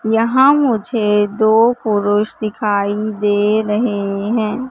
यहां मुझे दो पुरुष दिखाई दे रहे हैं।